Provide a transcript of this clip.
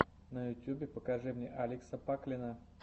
на ютюбе покажи мне алекса паклина